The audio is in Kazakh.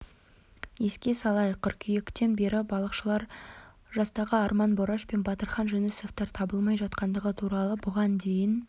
еске салайық қыркүйектен бері балықшылар жастағы арман бораш пен батырхан жүнісовтар табылмай жатқандығы туралы бұған дейін